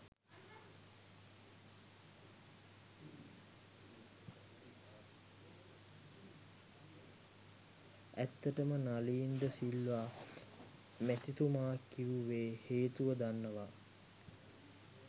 ඇත්තටම නලී්ද සිල්වා මැතිතුමා කිවුවෙ හේතුව දන්නව